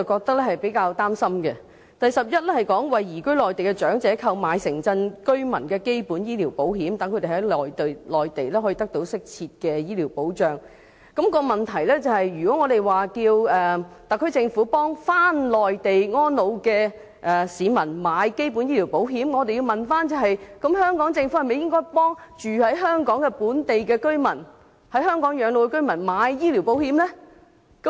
第項是"為移居內地的長者購買城鎮居民基本醫療保險，讓他們在內地得到適切的醫療保障"，而問題就是如果我們要求特區政府為回內地安老的市民購買基本醫療保險，那麼政府是否應要為居於香港的本地居民和在港養老的居民購買醫療保險呢？